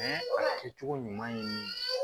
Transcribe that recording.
kɛcogo ɲuman ye